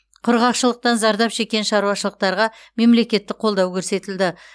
құрғақшылықтан зардап шеккен шаруашылықтарға мемлекеттік қолдау көрсетілді